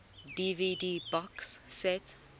dvd box set